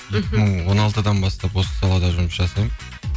мхм екі мың он алтыдан бастап осы салада жұмыс жасаймын